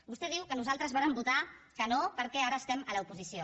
vostè diu que nosaltres vàrem votar que no perquè ara estem a l’oposició